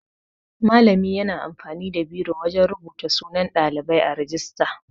Malami yana amfani da biro wajan rubuta sunan Ɗalibai a rijista.